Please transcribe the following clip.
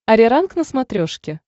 ариранг на смотрешке